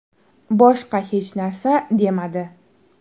Boshqa hech narsa demadi.